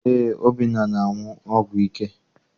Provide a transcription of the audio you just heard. Eé, Obinna na- aṅụ ọgwụ ike?